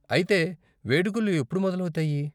అయితే వేడుకలు ఎప్పుడు మొదలవుతాయి?